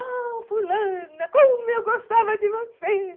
Oh, fulana, como eu gostava de você!